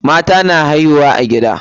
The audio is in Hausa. Mata na haihuwa a gida.